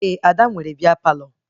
Ee, Ada nwere bịa Palọ